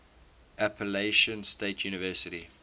appalachian state university